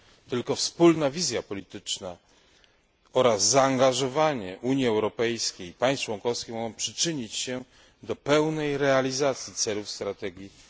Tylko wspólna wizja polityczna oraz zaangażowanie Unii Europejskiej i państw członkowskich mogą przyczynić się do pełnej realizacji celów strategii Europa